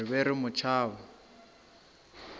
re be re mo tšhaba